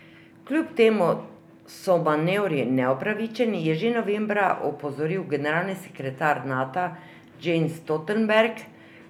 Kljub temu so manevri neupravičeni, je že novembra opozoril generalni sekretar Nata Jens Stoltenberg.